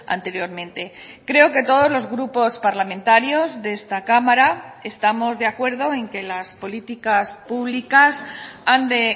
anteriormente creo que todos los grupos parlamentarios de esta cámara estamos de acuerdo en que las políticas públicas han de